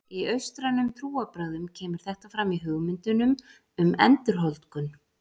Í austrænum trúarbrögðum kemur þetta fram í hugmyndunum um endurholdgun.